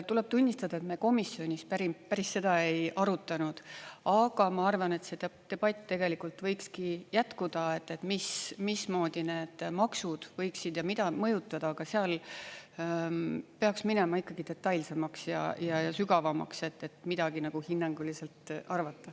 Tuleb tunnistada, et me komisjonis päris seda ei arutanud, aga ma arvan, et see debatt võikski jätkuda, mismoodi ja mida need maksud võiksid mõjutada, aga seal peaks minema ikkagi detailsemaks ja sügavamaks, et midagi hinnanguliselt arvata.